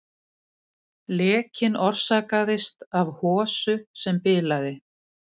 Lekinn orsakaðist af hosu sem bilaði